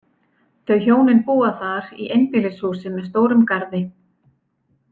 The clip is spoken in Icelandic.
Þau hjónin búa þar í einbýlishúsi með stórum garði.